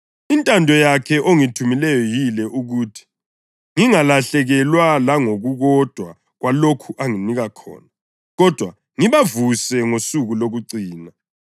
Intando yakhe ongithumileyo yile, ukuthi ngingalahlekelwa langokukodwa kwalokho anginike khona, kodwa ngibavuse ngosuku lokucina.